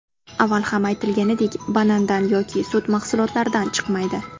Avval ham aytilganidek banandan yoki sut mahsulotlaridan chiqmaydi.